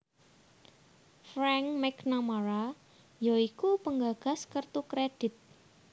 Frank McNamara ya iku penggagas kertu kredhit